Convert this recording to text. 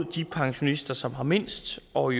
de pensionister som har mindst og